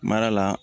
Mara la